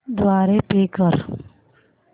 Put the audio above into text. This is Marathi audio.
द्वारे पे कर